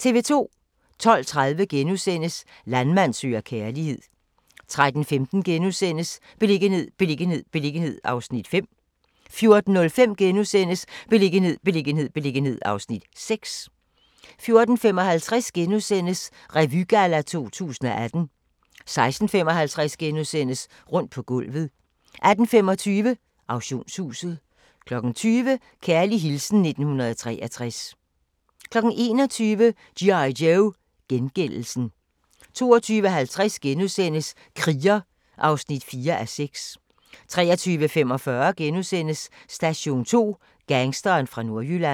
12:30: Landmand søger kærlighed * 13:15: Beliggenhed, beliggenhed, beliggenhed (Afs. 5)* 14:05: Beliggenhed, beliggenhed, beliggenhed (Afs. 6)* 14:55: Revygalla 2018 * 16:55: Rundt på gulvet * 18:25: Auktionshuset 20:00: Kærlig hilsen 1963 21:00: G.I. Joe: Gengældelsen 22:50: Kriger (4:6)* 23:45: Station 2: Gangsteren fra Nordjylland *